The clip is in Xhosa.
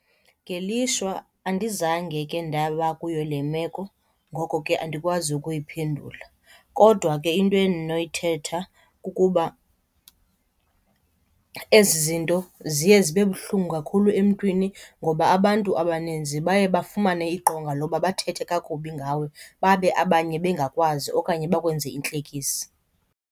Ngelishwa andizange ke ndaba kuyo le meko. Ngoko ke andikwazi ukuyiphendula, kodwa ke into endinoyithetha kukuba ezi zinto ziye zibe buhlungu kakhulu emntwini ngoba abantu abaninzi baye bafumane iqonga loba bathethe kakubi ngawe, babe abanye bengakwazi okanye bakwenze intlekisa.